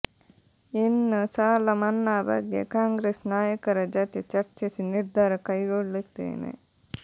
ಇನ್ನು ಸಾಲ ಮನ್ನಾ ಬಗ್ಗೆ ಕಾಂಗ್ರೆಸ್ ನಾಯಕರ ಜತೆ ಚರ್ಚಿಸಿ ನಿರ್ಧಾರ ಕೈಗೊಳ್ಳುತ್ತೇನೆ